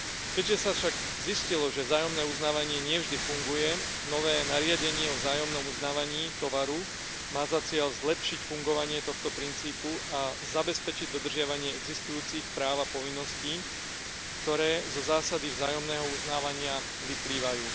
Keďže sa však zistilo, že vzájomné uznávanie nie vždy funguje, nové nariadenie o vzájomnom uznávaní tovaru má za cieľ zlepšiť fungovanie tohto princípu a zabezpečiť dodržiavanie existujúcich práv a povinností, ktoré zo zásady vzájomného uznávania vyplývajú.